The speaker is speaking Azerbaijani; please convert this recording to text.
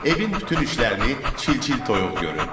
Evin bütün işlərini çil-çil toyuq görürdü.